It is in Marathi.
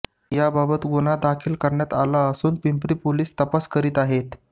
याबाबत गुन्हा दाखल करण्यात आला असून पिंपरी पोलीस तपास करीत आहेत